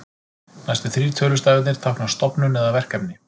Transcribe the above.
Næstu þrír tölustafirnir tákna stofnun eða verkefni.